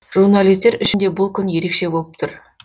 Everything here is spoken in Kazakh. журналистер үшін де бұл күн ерекше болып тұр